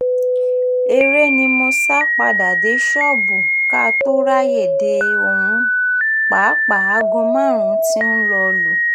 eré ni mo sá padà dé ṣọ́ọ̀bù ká tóó ráàyè dé ohun pàápàá aago márùn-ún tí ń lọọ lù